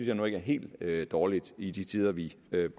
jeg nu ikke er helt dårligt i de tider vi